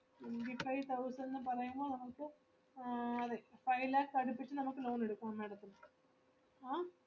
Twenty Five thousand ന്ന് പറയുമ്പോ നമുക്ക് ആഹ് just five lakhs അടുപ്പിച്ച് നമുക്ക് loan എടുക്കാം madam ത്തിന് ആഹ്